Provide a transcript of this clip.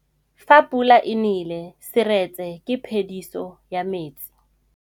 Fa pula e nelê serêtsê ke phêdisô ya metsi.